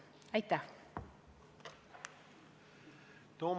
Aitäh!